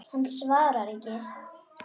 Hann svarar ekki.